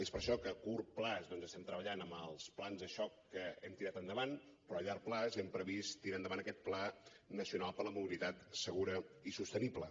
és per això que a curt termini estem treballant amb els plans de xoc que hem tirat endavant però a llarg termini hem previst tirar endavant aquest pla nacional per la mobilitat segura i sostenible